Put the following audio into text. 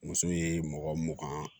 Muso ye mɔgɔ mugan